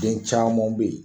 Den camanw be yen